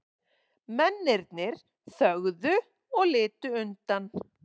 Mennirnir þögðu og litu undan.